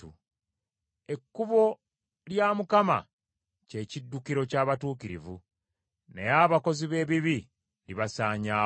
Ekkubo lya Mukama kye kiddukiro ky’abatuukirivu, naye abakozi b’ebibi libasaanyaawo.